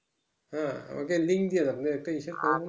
হ্যাঁ আমাকে link দিয়ে দেন একটা হিসাব